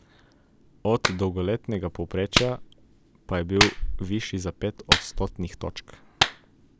Od dolgoletnega povprečja pa je bil višji za pet odstotnih točk.